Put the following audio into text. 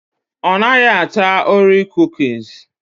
Ọnaghị ata ora kukusi